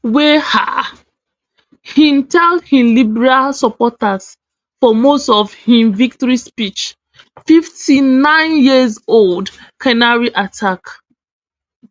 wey um im tell im liberal supporters for most of im victory speech fifty-nine years old canary attack